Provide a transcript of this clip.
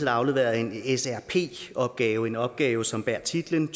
har afleveret en srp opgave en opgave som bærer titlen